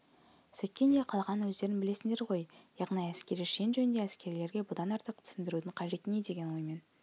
сөйткен де қалғанын өздерің білесіңдер ғой яғни әскери шен жөнінде әскерилерге бұдан артық түсіндірудің қажеті не деген оймен